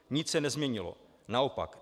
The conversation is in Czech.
Nic se nezměnilo, naopak.